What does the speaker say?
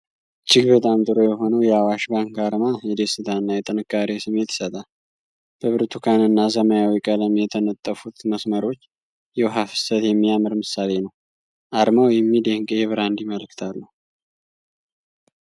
እጅግ በጣም ጥሩ የሆነው የአዋሽ ባንክ አርማ የደስታ እና የጥንካሬ ስሜት ይሰጣል። በብርቱካንና ሰማያዊ ቀለም የተነጠፉት መስመሮች የውሃ ፍሰት የሚያምር ምሳሌ ነው። አርማው የሚደንቅ የብራንድ መልዕክት አለው።